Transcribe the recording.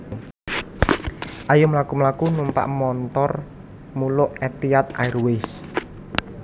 Ayo mlaku mlaku numpak montor muluk Etihad Airways